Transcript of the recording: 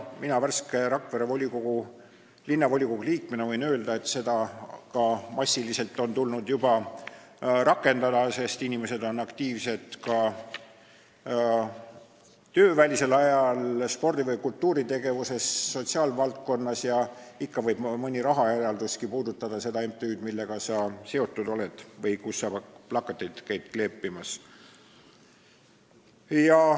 Mina Rakvere Linnavolikogu värske liikmena võin öelda, et seda on tulnud juba massiliselt rakendada, sest inimesed on aktiivsed ka töövälisel ajal spordi- või kultuuritegevuses või sotsiaalvaldkonnas ja ikka võib mõni rahaeraldus puudutada seda MTÜ-d, millega sa seotud oled või kus sa plakateid käid kleepimas.